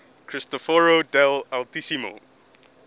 cristoforo del altissimo